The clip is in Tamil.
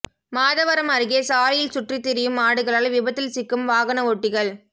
மாதவரம் அருகே சாலையில் சுற்றித்திரியும் மாடுகளால் விபத்தில் சிக்கும் வாகன ஓட்டிகள்